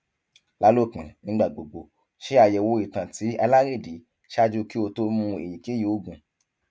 lalopin nigbagbogbo ṣayẹwo itan ti alerẹdi ṣaaju ki o to mu eyikeyi oogun